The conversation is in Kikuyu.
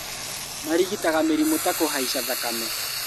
Marigitaga mĩrimũ ta kũhaica thakame